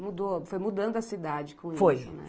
Mudou, foi mudando a cidade com isso, né? Foi